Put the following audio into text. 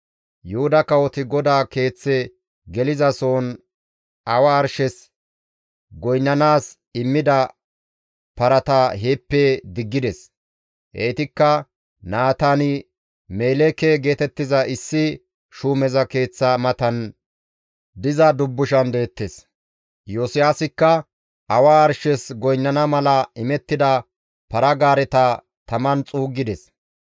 Yuhuda kawoti GODAA Keeththe geliza sohon awa arshes goynnanaas immida parata heeppe diggides. Heytikka Naataan-Meleeke geetettiza issi shuumeza keeththa matan diza dubbushan deettes. Iyosiyaasikka awa arshes goynnana mala imettida para-gaareta taman xuuggides.